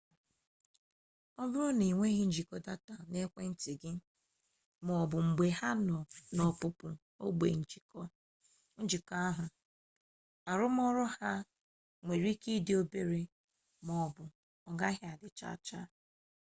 ọ bụrụ na ịnweghị njikọ data n'ekwentị gị maọbụ mgbe ha nọ n'ọpụpụ ogbe njikọ ahụ arụmọrụ ha nwere ike dị obere maọbụ ọgaghị adị chaa chaa